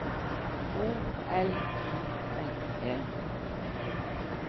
O L I N E